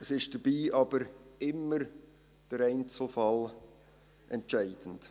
Es ist jedoch immer der Einzelfall entscheidend.